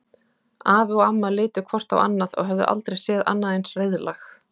Afi og amma litu hvort á annað og höfðu aldrei séð annað eins reiðlag.